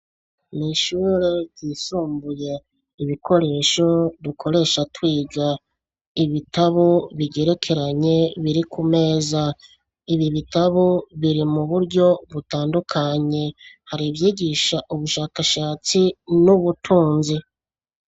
Nishure ryisumbuye ibikoresho dukoresha twiga ibitabo bigerekeranye biri ku meza ibi bitabo biri mu buryo butandukanye hari ibyigisha ubushakashatsi n'ubutunzi.